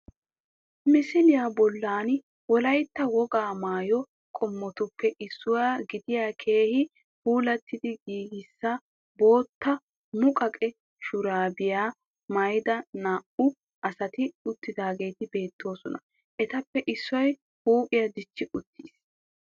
Misiliya bollan wolaytta wogaa maayo qommotuppe issuwa gidiya keehi puulattidi giigisa bootta muqaqe shuraabiya maayida naa'u asati uttidaageeti beettoosona. Etappe issoy huuphiya dichchi uttiis